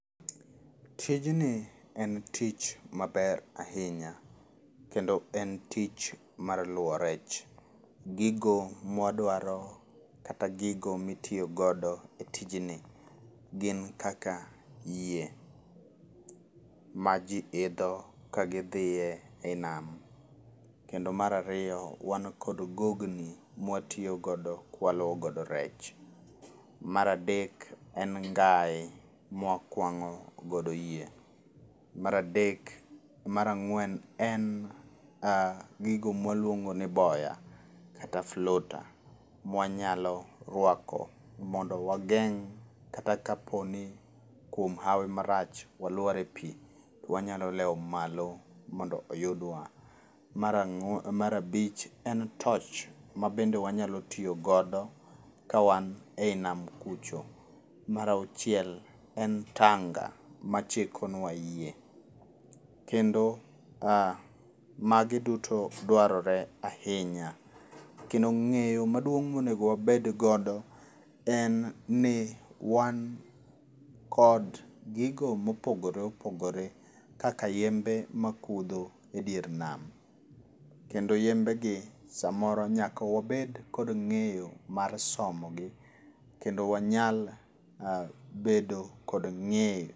Tijni en tich maber ahinya, kendo en tich mar luwo rech. Gigo mwadwaro, kata gigo mitiyo godo e tijni, gin kaka, yie, ma ji idho ka gidhie ei nam. Kendo mar ariyo, wan kod gogni, ma watiyogodo kwaluwo godo rech. Mar adek, en ngae, mwakwangó godo yie. Mar adek, mar ang'wen, en gigo mwaluongo ni boya, kata floater mwanyalo rwako mondo wangeng' kata ka poni kuom hawi marach wamlwar e pii, wanyalo lewo malo mondo oyudwa. Mar abich, en torch mabende wanyalo tiyo godo ka wan ei nam kucho. Mar auchiel, en tanga, machiko nwa yie. Kendo magi duto dwarore ahinya. Kendo ngéyo maduong' monego wabed godo, en ni wan kod gigo mopogore opogore, kaka yembe ma kudho e dier nam, kendo yembegi somoro nyaka wabed kod ngéyo mar somogi. Kendo wanyal bedo kod ngéyo